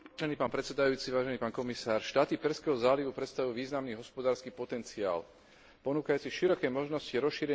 Štáty Perzského zálivu predstavujú významný hospodársky potenciál ponúkajúci široké možnosti rozšírenia spolupráce s Európskou úniou.